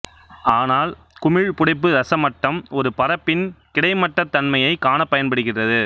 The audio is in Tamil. ஆனால் குமிழ் புடைப்பு ரச மட்டம் ஒரு பரப்பின் கிடைமட்டத் தன்மைையக் காணப் பயன்படுகிறது